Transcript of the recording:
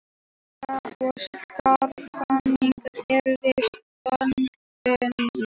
Hálka og skafrenningur er við ströndina